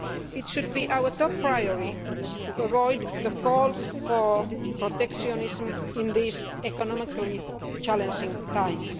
It should be our top priority to avoid calls for protectionism in these economically challenging times.